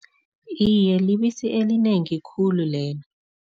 Iye, libisi elinengi khulu lelo.